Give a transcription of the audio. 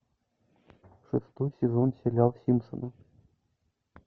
шестой сезон сериал симпсоны